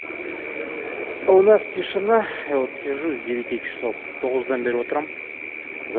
а у нас тишина вот сижу с девяти часов поздно наберу утром за